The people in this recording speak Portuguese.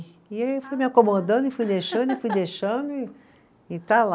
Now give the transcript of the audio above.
E aí eu fui me acomodando e fui deixando e fui deixando e, e está lá.